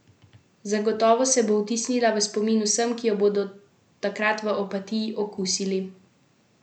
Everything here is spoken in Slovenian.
Zagotovo se bo vtisnila v spomin vsem, ki jo bodo takrat v Opatiji okusili.